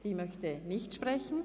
Sie möchte nicht sprechen.